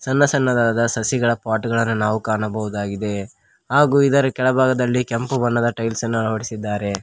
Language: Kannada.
ಸಣ್ಣ ಸಣ್ಣದಾದ ಸಸಿಗಳ ಪಾಟ್ ಗಳನ ನಾವು ಕಾಣಬಹುದಾಗಿದೆ ಹಾಗು ಇದರ ಕೆಳಭಾಗದಲ್ಲಿ ಕೆಂಪು ಬಣ್ಣದ ಟೈಲ್ಸ್ ನ್ನ ಅಳವಡಿಸಿದ್ದಾರೆ.